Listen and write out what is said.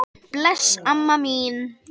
Bless, amma mín.